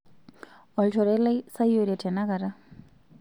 olchore lai sayiore tenakata